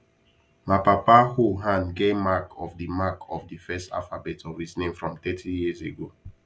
ma papa hoe hand get mark of the mark of the first alphabet of his name from 30yrs ago